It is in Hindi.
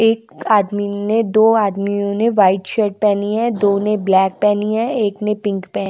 एक आदमी ने दो आदमियों ने वाइट शर्ट पहनी है‌दो ने ब्लैक पहनी हैएक ने पिंक पहनी--